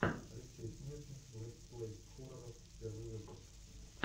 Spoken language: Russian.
алексей смертник летсплеи хорроров первый выпуск